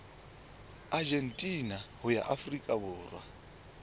argentina ho ya afrika borwa